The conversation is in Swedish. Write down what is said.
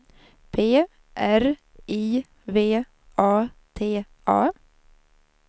P R I V A T A